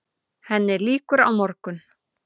Henni lýkur á morgun.